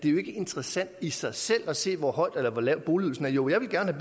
er interessant i sig selv at se hvor høj eller hvor lav boligydelsen er jo jeg ville gerne